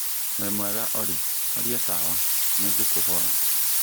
wimwega Olly horia tawa nĩ ngũkũhoya